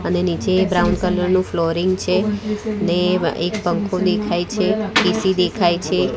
અને નીચે એક બ્રાઉન કલર નું ફ્લોરિંગ છે ને એક પંખો દેખાય છે એ_સી દેખાય છે.